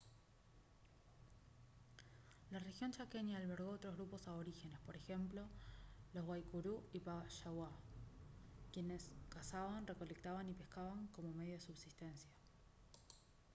la región chaqueña albergó otros grupos aborígenes por ejemplo los guaycurú y payaguá quienes cazaban recolectaban y pescaban como medio de subsistencia